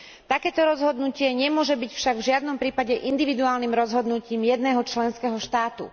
Takéto rozhodnutie nemôže byť však v žiadnom prípade individuálnym rozhodnutím jedného členského štátu.